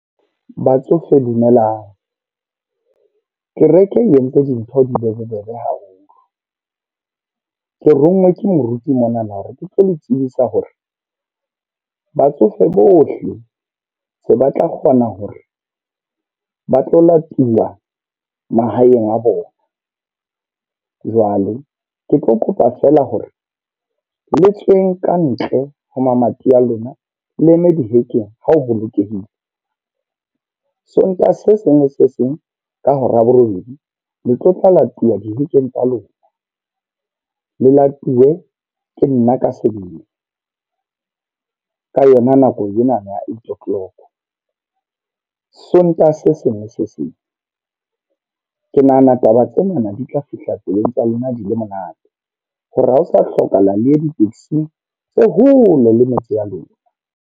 Batsofe dumelang. Kereke e entse dintho di be bobebe haholo. Ke ronngwe ke moruti monana hore ke tlo le tsebisa hore batsofe bohle se ba tlo kgona hore ba tlo latiwa mahaeng a bona. Jwalo ke tlo kopa fela hore le tsweng ka ntle ho mamati a lona le eme dihekeng ha o bolokehile. Sontaha se seng le se seng ka hora ya borobedi le tlo tla latuwa dihekeng tsa lona. Le latuwe ke nna ka sebele, ka yona nako ena ya eight o'clock. Sontaha se seng le se seng. Ke nahana taba tsena di tla fihla tsebeng tsa lona di le monate. Hore ha ho sa hlokahala le di-taxi-ng tse hole le metse ya lona.